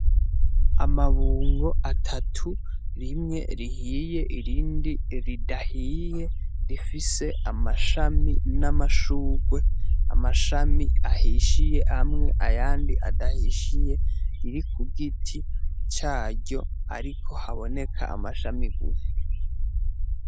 Amabungo atatu rimwe rihiye irindi ridahiye rifise amashami n'amashurwe amashami ahishiye hamwe ayandi adahishiye iri ku bgiti caryo, ariko haboneka amashami gufa.